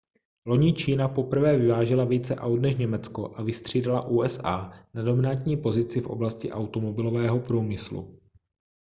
loni čína poprvé vyvážela více aut než německo a vystřídala usa na dominantní pozici v oblasti automobilového průmyslu